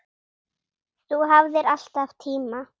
Þú hafðir alltaf tíma.